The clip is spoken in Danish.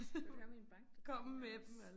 Skal du have mine bankkonto også